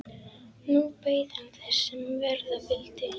Nú beið hann þess, sem verða vildi.